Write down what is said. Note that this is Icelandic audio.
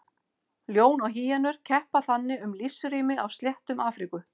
Ljón og hýenur keppa þannig um lífsrými á sléttum Afríku.